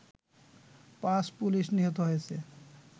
৫ police নিহত হয়েছে